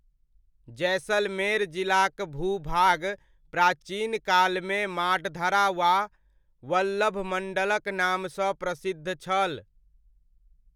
जैसलमेर जिलाक भू भाग प्राचीन कालमे माडधरा वा वल्लभमण्डलक नामसँ प्रसिद्ध छल।